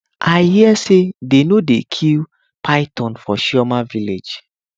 i hear say dey no dey kill python for chioma village